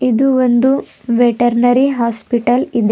ಇದು ಒಂದು veterinary hospital ಇದೆ.